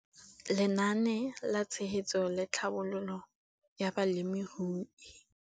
Lenaane la Tshegetso le Tlhabololo ya Balemirui